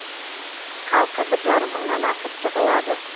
халқы бір жарым мыңнан асып жығылады